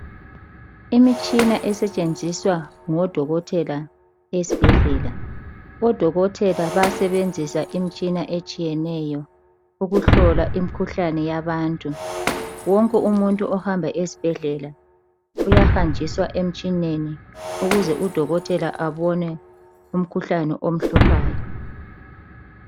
Imitshina esetshenziswa ngodokotela esibhedlela. Odokotela bayasebenzisa imitshina etshiyeneyo ukuhlola imikhuhlane yabantu. Wonke umuntu ohamba esibhedlela uyahanjiswa emitshineni ukuze udokotela abone umkhuhlane omhluphayo.